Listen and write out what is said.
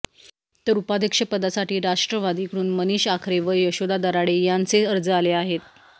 तर उपाध्यक्षपदासाठी राष्ट्रवादीकडून मनीष आखरे व यशोदा दराडे यांचे अर्ज आले आहेत